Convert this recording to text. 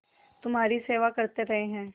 तुम्हारी सेवा करते रहे हैं